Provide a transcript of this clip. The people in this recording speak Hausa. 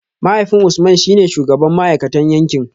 Mahaifin Usman shi ne shugaban ma’aikatan yankin